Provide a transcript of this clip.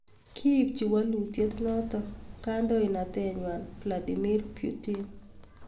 Kiipchin walutiet notok kandoindet nywa Vladimir Putin